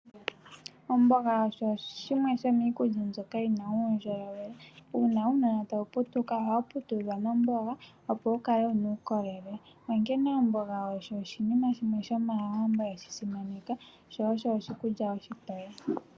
Omboga osho shimwe shomiikulya mbyoka yina uundjolowele, una uunona tawu putuka ohawu putudhwa noomboga opo wukale uukolele, onkene omboga oyo oshinima shimwe shomaawambo yeshisimaneka sho osho oshikulya oshitoye.